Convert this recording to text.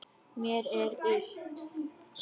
Mér er illt.